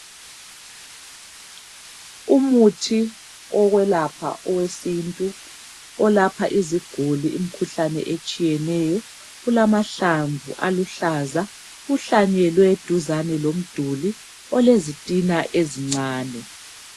Umuthi wokwelapha owesintu olapha iziguli imikhuhlane ezitshiyeneyo ulamhalmvu aluhlaza uhlanyelwe duzane lomduli olezitina ezincane.